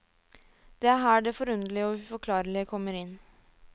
Det er her det forunderlige og uforklarlige kommer inn.